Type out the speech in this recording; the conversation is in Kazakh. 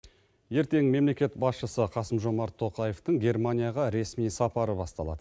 ертең мемлекет басшысы қасым жомарт тоқаевтың германияға ресми сапары басталады